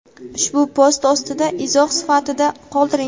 ushbu post ostida izoh sifatida qoldiring.